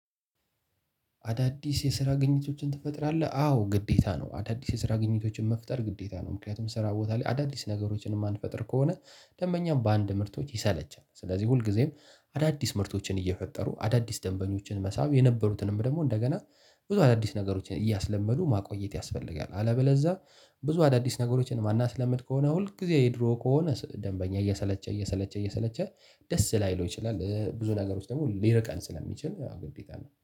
አዳዲስ የስራ ግንኝነቶችን ትፈጥራለህ አዎ ግዴታ ነው። አዳዲስ የስራ ግንኝነቶችን መፍጠር ግዴታ ነው። ምክንያቱም ስራ ቦታ ላይ አዳዲስ ነገሮችን የማንፈጥር ከሆነ ደንበኛም በአንድ ምርቶች ይሰለቻል። ስለዚህ ሁልጊዜም አዳዲስ ምርቶችን እየፈጠሩ አዳዲስ ደንበኞችን መሳብ የነበሩትንም ደግሞ እንደገና ብዙ አዳዲስ ነገሮችን እያስለመዱ ማቆየት ያስፈልጋል። አለበለዛ ብዙ አዳዲስ ነገሮችን የማንስለምድ ከሆነ ሁል ጊዜ የድሮ ከሆነ ደንበኛ እየሰለቸ እየሰለቸ እየሰለቸ ደስ ላይለው ይችላል። ብዙ ነገሮች ደግሞ ሊርቀን ስለሚችል ግዴታ ነው